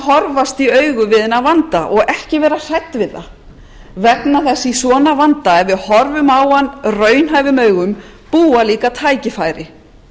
horfast í augu við þennan vanda og ekki vera hrædd við það vega þess að í svona vanda ef við horfum á hann raunhæfum augum búa líka tækifæri